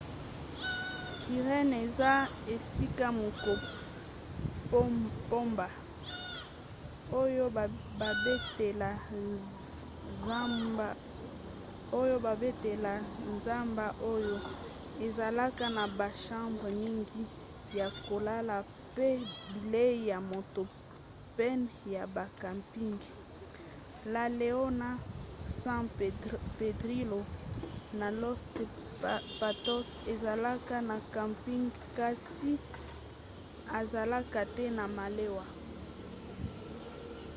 sirena eza esika moko pamba oyo babatela zamba oyo ezalaka na bachambre mingi ya kolala pe bilei ya moto pene ya ba camping. la leona san pedrillo na los patos ezalaka na camping kasi ezalaka te na malewa